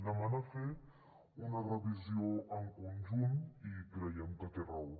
demana fer ne una revisió en conjunt i creiem que té raó